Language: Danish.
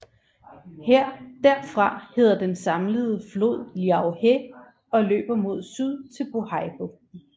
Derfra hedder den samlede flod Liao He og løber mod syd til Bohaibugten